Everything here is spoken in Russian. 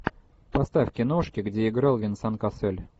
поставь киношки где играл венсан кассель